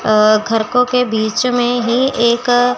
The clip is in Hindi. अ घरको के बीच में ही एक--